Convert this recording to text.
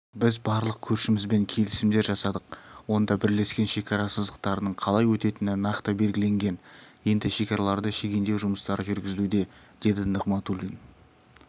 біз барлық көршімізбен келісімдер жасадық онда бірлескен шекара сызықтарының қалай өтетіні нақты белгіленген енді шекараларды шегендеу жұмыстары жүргізілуде деді нығматулин